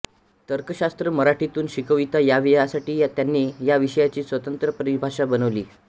तर्कशास्त्र मराठीतून शिकविता यावे यासाठी त्यांनी या विषयाची स्वतंत्र परिभाषा बनविली